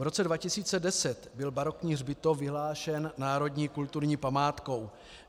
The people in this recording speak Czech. V roce 2010 byl barokní hřbitov vyhlášen národní kulturní památkou.